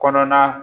Kɔnɔna